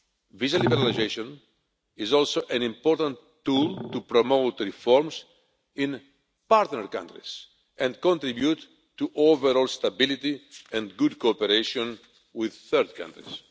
Visa liberalisation is also an important tool to promote reforms in partner countries and contribute to overall stability and good cooperation with third countries.